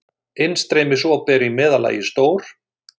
Innstreymisop eru í meðallagi stór.